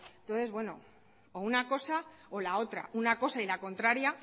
entonces una cosa o la otra una cosa y la contraria